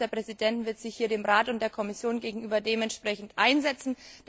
Die Konferenz der Präsidenten wird sich hier dem Rat und der Kommission gegenüber entsprechend einsetzen.